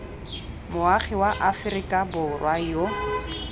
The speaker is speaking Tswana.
moagi wa aforika borwa yo